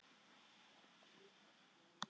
Það gerðist á sunnudegi að